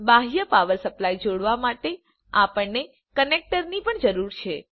બાહ્ય power supply જોડવા માટે આપણને કનેક્ટરની પણ જરૂર છે